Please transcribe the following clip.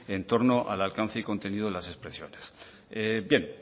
en torno al alcance y contenido de las expresiones bien